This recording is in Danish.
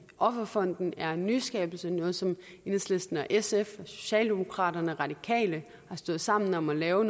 offerfonden er en nyskabelse og noget som enhedslisten sf socialdemokraterne og radikale har stået sammen om at lave og